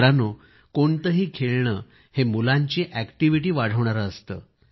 मित्रांनो कोणतेही खेळणे हे मुलांची अॅक्टिव्हिटी वाढवणारे असते